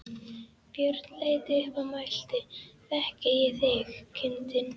Björn leit upp og mælti: Þekki ég þig, kindin?